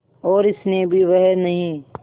और स्नेह भी वह नहीं